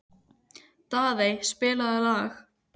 Daðey, spilaðu lag.